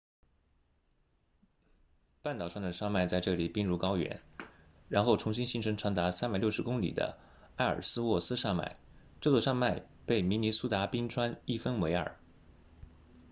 半岛上的山脉在这里并入高原然后重新形成长达360公里的埃尔斯沃斯 ellsworth 山脉这座山脉被明尼苏达冰川一分为二